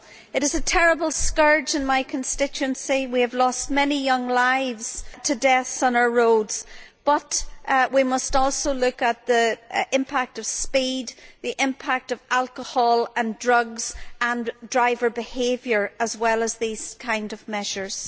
It is a terrible scourge in my constituency we have lost many young lives to deaths on our roads but we must also look at the impact of speed, the impact of alcohol and drugs and of driver behaviour, as well as at these kinds of measures.